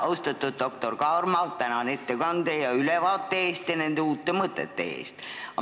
Austatud doktor Kaarma, tänan ettekande, ülevaate ja uute mõtete eest!